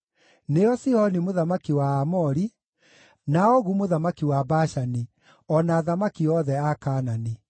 nĩo Sihoni mũthamaki wa Aamori, na Ogu mũthamaki wa Bashani, o na athamaki othe a Kaanani;